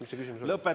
Mis see küsimus oli?